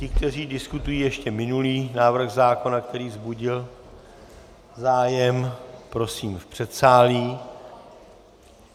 Ti, kteří diskutují ještě minulý návrh zákona, který vzbudil zájem, prosím v předsálí.